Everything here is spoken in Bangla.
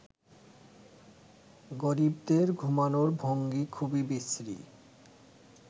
গরিবদের ঘুমোনোর ভঙ্গি খুবই বিশ্রী